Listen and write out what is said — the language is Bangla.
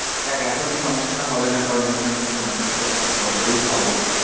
দেখ এখন এই সমস্যাটা হবে না কারণ exam টেক্সাম এখন থেকে প্রত্যেক বছরেই হবে।